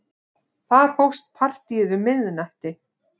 Þar hófst partíið um miðnætti.